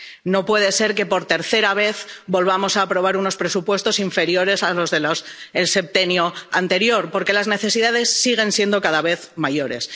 No puede ser que, por tercera vez, volvamos a aprobar unos presupuestos inferiores a los del septenio anterior, porque las necesidades siguen siendo cada vez mayores.